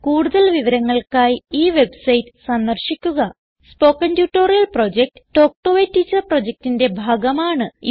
കൂടുതൽ വിവരങ്ങൾക്കായി ഈ വെബ്സൈറ്റ് സന്ദർശിക്കുക spoken tutorial project talk to a teacher പ്രൊജക്റ്റിന്റെ ഭാഗമാണ്